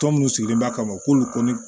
Tɔ minnu sigilen b'a kama k'olu kɔni